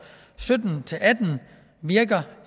sytten til atten virker